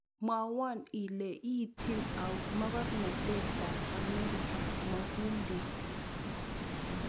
Mwawon ile iiytin au mogornotetap Amerika mohindik